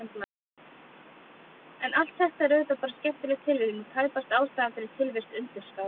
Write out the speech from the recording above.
En allt þetta er auðvitað bara skemmtileg tilviljun og tæpast ástæðan fyrir tilvist undirskála.